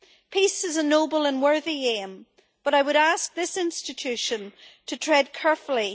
Peace is a noble and worthy aim but I would ask this institution to tread carefully.